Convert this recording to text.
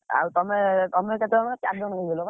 ଆଉ ତମେ ତମେ କେତେ ଜଣ ଚାରି ଜଣ ହେଇଗଲ ବା।